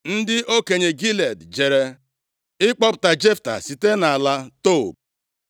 Ndị okenye Gilead jere ịkpọpụta Jefta site nʼala Tob.